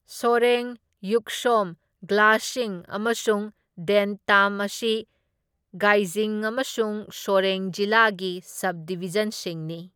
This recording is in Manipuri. ꯁꯣꯔꯦꯡ, ꯌꯨꯛꯁꯣꯝ, ꯒ꯭ꯌꯥꯜꯁꯤꯡ ꯑꯃꯁꯨꯡ ꯗꯦꯟꯇꯥꯝ ꯑꯁꯤ ꯒꯦꯏꯖꯤꯡ ꯑꯃꯁꯨꯡ ꯁꯣꯔꯦꯡ ꯖꯤꯂꯥꯒꯤ ꯁꯕꯗꯤꯚꯤꯖꯟꯁꯤꯡꯅꯤ꯫